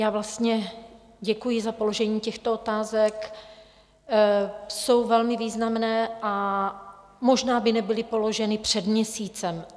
Já vlastně děkuji za položení těchto otázek, jsou velmi významné a možná by nebyly položeny před měsícem.